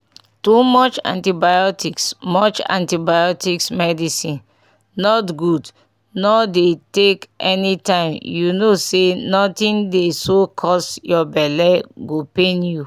too much antibiotics much antibiotics medicine not gud nor dey take anytime u no say nothing dey so cus ur belle go pain u